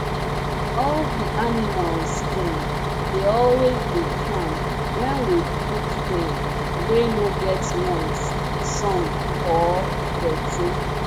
all di animals dem dey always dey calm wen we put dem wey no get noise sun or dirty